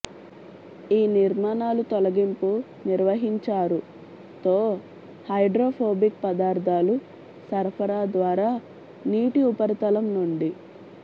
ఈ నిర్మాణాలు తొలగింపు నిర్వహించారు తో హైడ్రోఫోబిక్ పదార్థాలు సరఫరా ద్వారా నీటి ఉపరితలం నుండి